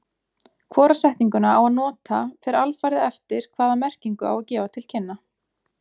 Hvora setninguna á að nota fer alfarið eftir hvaða merkingu á að gefa til kynna.